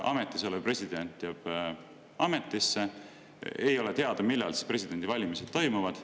Ametis olev president jääb ametisse ja ei ole teada, millal presidendivalimised toimuvad.